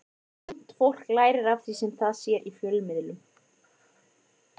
Ungt fólk lærir af því sem það sér í fjölmiðlum.